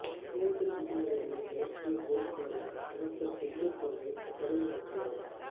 தேர்தல் விதிமுறைகளை விளக்கிய போலீசாருடன் அமைச்சர் செந்தூர் பாண்டியன் கடும் வாக்குவாதம்